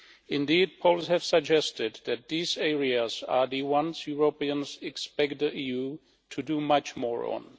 Indeed, polls have suggested that these areas are the ones Europeans expect the EU to do much more on.